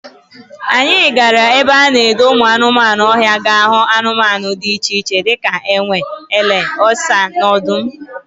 Anyị gara ebe a na-edo ụmụ anụ ọhịa ga hụ anụmanụ dị iche iche dịka enwe, ele, ọsa na odum